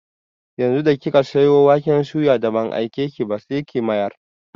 Yanzu da kika sayo waken suyan da ban aikeki ba, sai ki mayar!